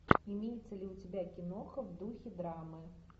имеется ли у тебя киноха в духе драмы